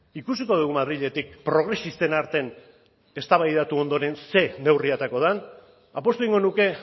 ikusiko dugu madriletik progresisten artean eztabaidatu ondoren zein neurri aterako den apustu egingo nuke